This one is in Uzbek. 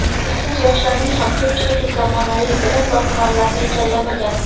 Ishsiz yoshlarning ham ko‘pchiligi zamonaviy bilim va hunarlarni egallamagan.